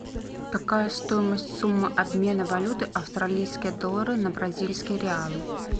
какая стоимость суммы обмена валюты австралийские доллары на бразильские реалы